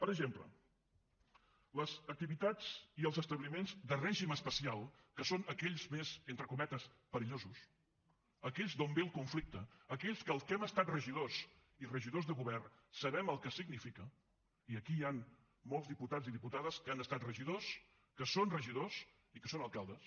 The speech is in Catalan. per exemple les activitats i els establiments de règim especial que són aquells més entre cometes perillosos aquells d’on ve el conflicte aquells que els que hem estat regidors i regidors de govern sabem el que significa i aquí hi han molts diputats i diputades que han estat regidors que són regidors i que són alcaldes